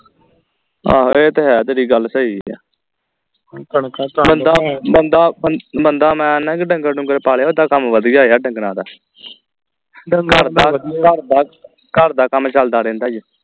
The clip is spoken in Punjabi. ਆਹੋ ਇਹ ਤਾਂ ਹੈ ਤੇਰੀ ਗੱਲ ਸਹੀ ਬੰਦਾ ਬੰਦਾ ਬੰਦਾ ਮੈਂ ਆਨੇ ਕਿ ਢੰਗਰ ਢੂਗਰ ਪਾਲੇ ਹੋ ਉੱਦਾਂ ਕੰਮ ਵਧੀਆ ਆ ਢੰਗਰਾਂ ਦਾ ਘਰ ਦਾ ਘਰ ਦਾ ਕੰਮ ਚਲਦਾ ਰਹਿੰਦਾ ਈ